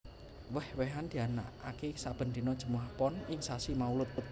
Wéh wéhan dianakaké sabèn dina Jèmuwah Pon ing sasi Maulud